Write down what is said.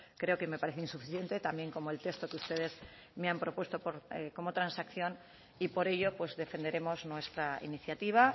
creo que me parece insuficiente también como el texto que ustedes me han propuesto como transacción y por ello pues defenderemos nuestra iniciativa